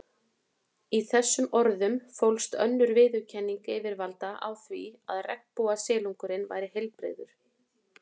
Í þessum orðum fólst önnur viðurkenning yfirvalda á því að regnbogasilungurinn væri heilbrigður.